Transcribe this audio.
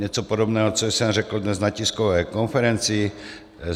Něco podobného, co jsem řekl dnes na tiskové konferenci.